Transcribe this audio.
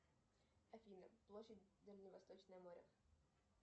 афина площадь дальневосточное море